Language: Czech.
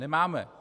Nemáme.